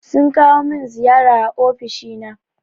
Sun kawo min ziyara a ofishi na.